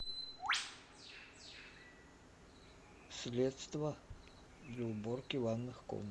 средство для уборки ванных комнат